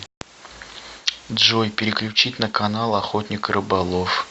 джой переключить на канал охотник и рыболов